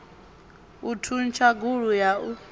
u thuntsha gulu ya u